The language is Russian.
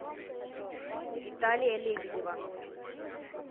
виталия лебедева